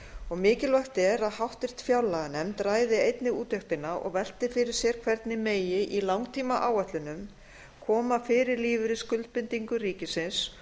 og mikilvægt er að háttvirtri fjárlaganefnd ræði einnig úttektina og velti fyrir sér hvernig megi í langtímaáætlunum koma fyrir lífeyrisskuldbindingum ríkisins